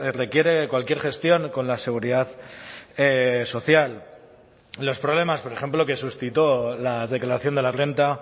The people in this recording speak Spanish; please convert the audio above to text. requiere cualquier gestión con la seguridad social los problemas por ejemplo que suscitó la declaración de la renta